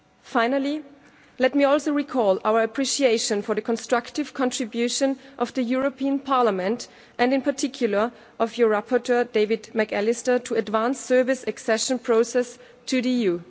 Finally, let me also recall our appreciation for the constructive contribution of Parliament, and in particular of your rapporteur, David McAllister, to advance Serbia's accession process to the EU.